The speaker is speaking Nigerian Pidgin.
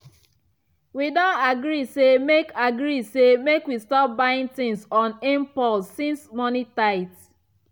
we don agree say make agree say make we stop buying things on impulse since money tight.